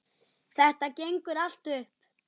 Þetta gengur allt upp.